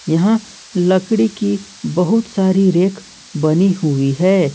यहां लकड़ी की बहुत सारी रेक बनी हुई है।